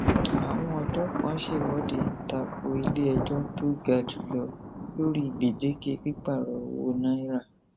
àwọn ọdọ kan ṣèwọde ta ko iléẹjọ tó ga jù lọ lórí gbèdéke pípààrọ owó náírà